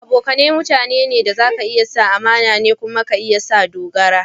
Abokane mutane da za ka iya sa amana ne kuma za ka iya sa dogara.